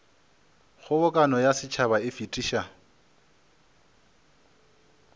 kgobokano ya setšhaba e fetiša